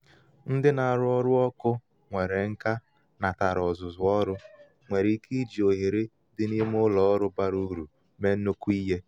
ndị na aru oru oku; nwere nka natara ọzụzụ ọrụ nwere ike iji ohere dị n’ime ụlọ ọrụ bara uru mee nnukwu ihe